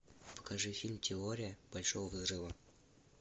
покажи фильм теория большого взрыва